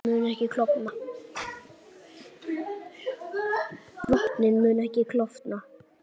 Vötnin munu ekki klofna